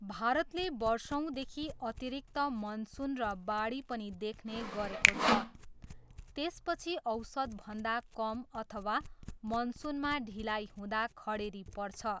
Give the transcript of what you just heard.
भारतले वर्षौँदेखि अतिरिक्त मनसुन र बाढी पनि देख्ने गरेको छ, त्यसपछि औसतभन्दा कम अथवा मनसुनमा ढिलाइ हुँदा खडेरी पर्छ।